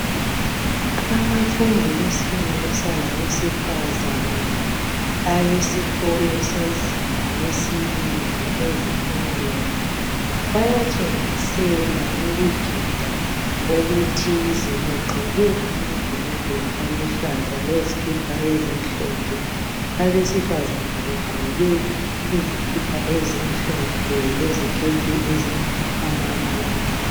Abafundi besilisa labesifazana. Abesikolo sezinga lesibili, ezifundweni. Bayatshengisela ukugida okuthize. Begqoke amabhulugwe aluhlaza, lezikipa ezimhlophe. Abesifazana begqoke izikipa ezimhlophe, leziketi ezilamabalabala.